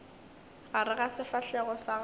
gare ga sefahlego sa gago